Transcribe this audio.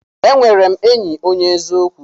E nwere m enyi onye eziokwu.